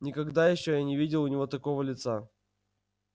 никогда ещё я не видел у него такого лица